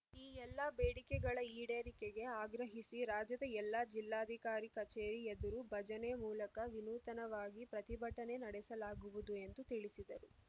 ಈ ಎಲ್ಲ ಬೇಡಿಕೆಗಳ ಈಡೇರಿಕೆಗೆ ಆಗ್ರಹಿಸಿ ರಾಜ್ಯದ ಎಲ್ಲ ಜಿಲ್ಲಾಧಿಕಾರಿ ಕಚೇರಿ ಎದುರು ಭಜನೆ ಮೂಲಕ ವಿನೂತನವಾಗಿ ಪ್ರತಿಭಟನೆ ನಡೆಸಲಾಗುವುದು ಎಂದು ತಿಳಿಸಿದರು